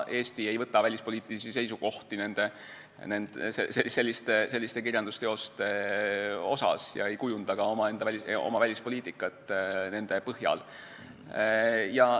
Eesti ei võta välispoliitilisi seisukohti kirjandusteoste suhtes ega kujunda omaenda välispoliitikat nende põhjal.